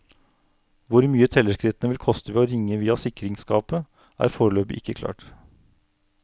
Hvor mye tellerskrittene vil koste ved å ringe via sikringsskapet, er foreløpig ikke klart.